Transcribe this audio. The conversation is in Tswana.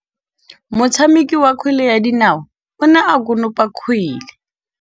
Motshameki wa kgwele ya dinaô o ne a konopa kgwele.